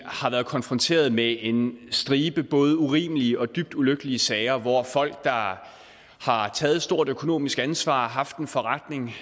har været konfronteret med en stribe både urimelige og dybt ulykkelige sager hvor folk der har taget et stort økonomisk ansvar og har haft en forretning